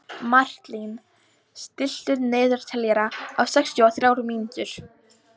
Marlín, stilltu niðurteljara á sextíu og þrjár mínútur.